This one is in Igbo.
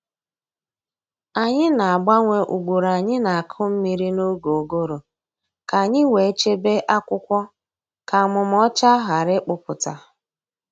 Anyị na-agbanwe ugboro anyị na-akụ mmiri n’oge ụgụrụ ka anyị wee chebe akwụkwọ ka amụmà ọcha ghara ịkpụpụta."